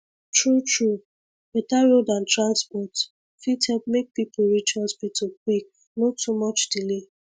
truetrue better road and transport fit help make people reach hospital quick no too much delay